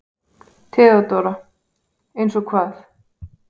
THEODÓRA: Eins og hvað?